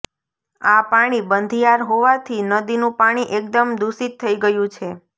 આ પાણી બંધિયાર હોવાથી નદીનું પાણી એકદમ દુષિત થઇ ગયું છે